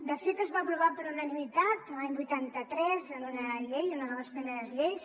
de fet es va aprovar per unanimitat l’any vuitanta tres en una llei una de les primeres lleis